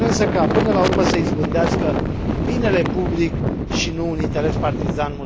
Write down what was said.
Sper însă ca, până la urmă, să izbândească binele public și nu un interes partizan.